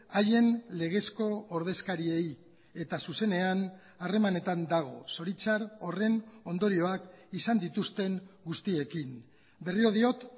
haien legezko ordezkariei eta zuzenean harremanetan dago zoritxar horren ondorioak izan dituzten guztiekin berriro diot